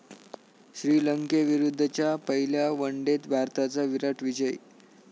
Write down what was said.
श्रीलंकेविरुद्धच्या पहिल्या वनडेत भारताचा 'विराट' विजय